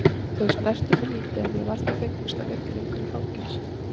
Þau snertu mig lítið en ég var því fegnust að vera ekki lengur í fangelsi.